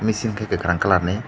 mechanic ke kakarang colour ni.